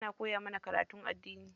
Ana koya mana karatun addini.